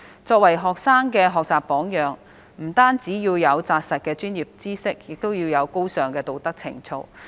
作為學生的學習榜樣，教師不單要有扎實的專業知識，亦要有高尚的道德情操。